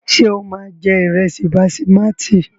Ṣé o máa jẹ ìrẹsì basimátì?